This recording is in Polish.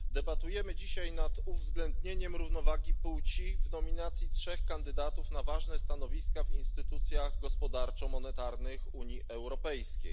Debatujemy dzisiaj nad uwzględnieniem równowagi płci w nominacji trzech kandydatów na ważne stanowiska w instytucjach gospodarczo monetarnych Unii Europejskiej.